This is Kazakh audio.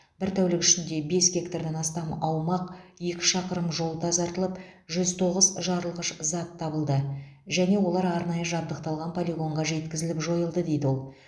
бір тәулік ішінде бес гектардан астам аумақ екі шақырым жол тазартылып жүз тоғыз жарылғыш зат табылды және олар арнайы жабдықталған полигонға жеткізіліп жойылды дейді ол